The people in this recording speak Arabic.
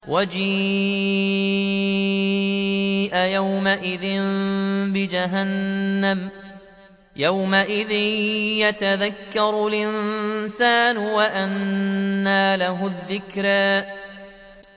وَجِيءَ يَوْمَئِذٍ بِجَهَنَّمَ ۚ يَوْمَئِذٍ يَتَذَكَّرُ الْإِنسَانُ وَأَنَّىٰ لَهُ الذِّكْرَىٰ